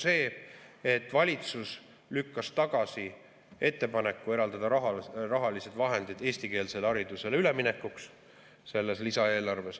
Seda, et valitsus lükkas tagasi ettepaneku eraldada rahalised vahendid eestikeelsele haridusele üleminekuks selles lisaeelarves.